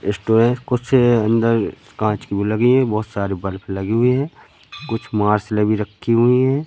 Restaurant कुछ अंदर कांच की भी लगी हैं बहुत सारी बल्ब लगी हुई हैं कुछ मार्शलें भी रखी हुई हैं।